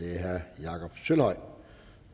herre jakob sølvhøj